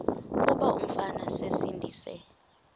kuba umfana esindise